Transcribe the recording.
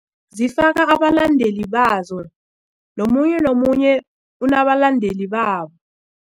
Zifaka abalandeli bazo nomunye nomunye unabalandeli babo.